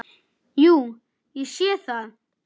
Jú, ég sé það.